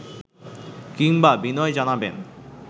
কিংবা বিনয় জানাবেন